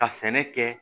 Ka sɛnɛ kɛ